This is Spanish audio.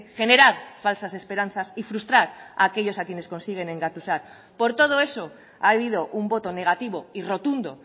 generar falsas esperanzas y frustrar a aquellos a quienes consiguen engatusar por todo eso ha habido un voto negativo y rotundo